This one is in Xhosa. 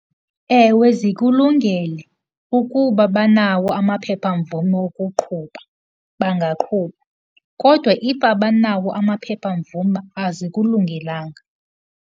Ewe zikulungele ukuba banawo amaphephamvume wokuqhuba bangaqhuba, kodwa if abanawo amaphephamvume azikulungelanga.